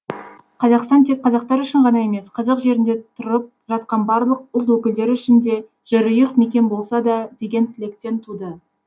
қазақстан тек қазақтар үшін ғана емес қазақ жерінде тұрып жатқан барлық ұлт өкілдері үшін де жерұйық мекен болса да деген тілектен туды